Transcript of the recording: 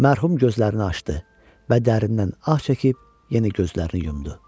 Mərhum gözlərini açdı və dərindən ah çəkib yenə gözlərini yumdu.